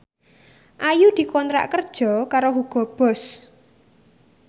Ayu dikontrak kerja karo Hugo Boss